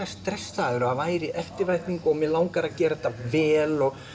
stressaður og það væri eftirvænting mig langaði að gera þetta vel og